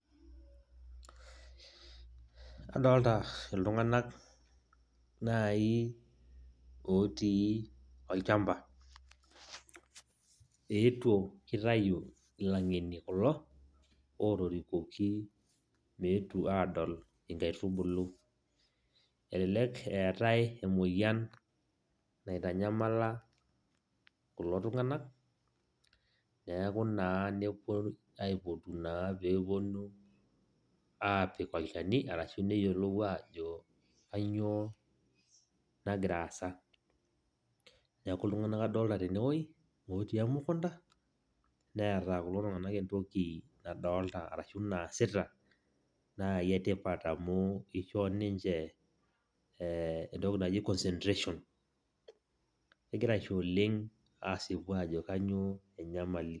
Adolta iltung'anak nai otii olchamba. Eetuo, kitayu ilang'eni kulo, otorikuoki meetu adol inkaitubulu. Elelek eetae emoyian naitanyamala kulo tung'anak, neeku naa nepoi aipotu naa peponu apik olchani, arashu neyiolou ajo kanyioo nagira aasa. Neeku iltung'anak adolita tenewueji, otii emukunda, neeta kulo tung'anak entoki nadolta arashu naasita nai etipat, amu ishoo ninche entoki naji concentration, egira aisho oleng' asipu ajo kanyioo enyamali.